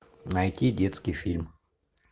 найти детский фильм